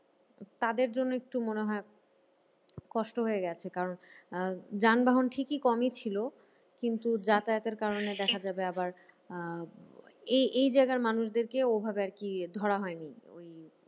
তাদের জন্য একটু মনে হয় কষ্ট হয়ে গেছে। কারণ আহ যানবাহন ঠিকই কমই ছিল কিন্তু যাতায়াতের কারণে দেখা যাবে আবার আহ এই এই জায়গার মানুষদেরকে ওভাবে আরকি ধরা হয় নি ওই